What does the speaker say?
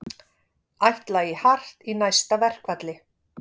Ætla í hart í næsta verkfalli